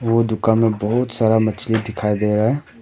वो दुकान में बहोत सारा मछली दिखाई दे रहा है।